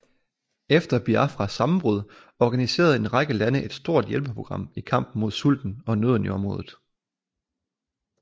Efter Biafras sammenbrud organiserede en række lande ett stort hjælpeprogram i kampen mod sulten og nøden i området